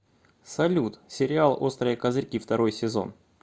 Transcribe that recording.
салют сериал острые козырьки второй сезон